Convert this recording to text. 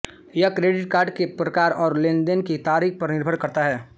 यह credit card के प्रकार और लेनेदेने की तारीख पर निर्भर करता है